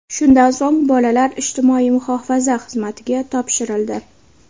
Shundan so‘ng, bolalar ijtimoiy muhofaza xizmatiga topshirildi.